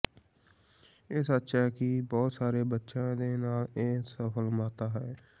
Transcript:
ਇਹ ਸੱਚ ਹੈ ਕਿ ਬਹੁਤ ਸਾਰੇ ਬੱਚੇ ਦੇ ਨਾਲ ਇੱਕ ਸਫਲ ਮਾਤਾ ਹੈ